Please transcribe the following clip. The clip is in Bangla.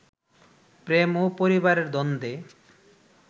প্রেম ও পরিবারের দ্বন্দ্বে